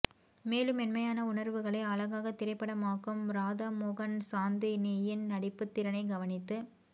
மேலும் மென்மையான உணர்வுகளை அழகான திரைப்படமாக்கும் ராதாமோகன் சாந்தினியின் நடிப்புத் திறனை கவனித்து